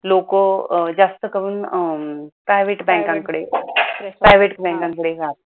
लोक जास्त करून private बँकांकडे private बँकांकडे जातात